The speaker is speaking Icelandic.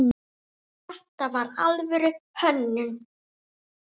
Þetta var alvöru hönnun.